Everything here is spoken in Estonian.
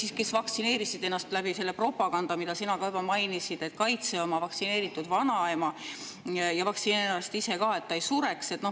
Inimesed vaktsineerisid ennast selle propaganda tõttu, mida sina ka juba mainisid: kaitse oma vaktsineeritud vanaema, vaktsineeri ennast ise ka, et ta ei sureks.